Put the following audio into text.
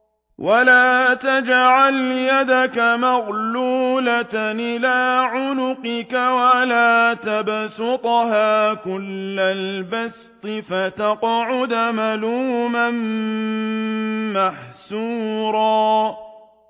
وَلَا تَجْعَلْ يَدَكَ مَغْلُولَةً إِلَىٰ عُنُقِكَ وَلَا تَبْسُطْهَا كُلَّ الْبَسْطِ فَتَقْعُدَ مَلُومًا مَّحْسُورًا